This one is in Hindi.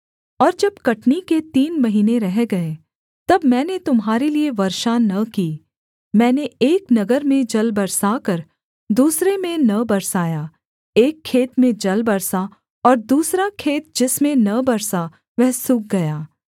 और जब कटनी के तीन महीने रह गए तब मैंने तुम्हारे लिये वर्षा न की मैंने एक नगर में जल बरसाकर दूसरे में न बरसाया एक खेत में जल बरसा और दूसरा खेत जिसमें न बरसा वह सूख गया